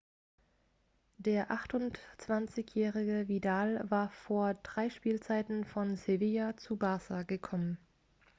der 28-jährige vidal war vor drei spielzeiten von sevilla zu barça gekommen